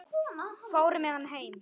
Fór með hann heim.